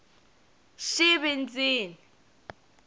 xivindzini